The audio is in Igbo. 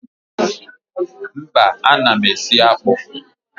Mba, ana m esi akpụ